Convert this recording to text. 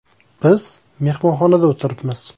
Biz mehmonxonada o‘tiribmiz.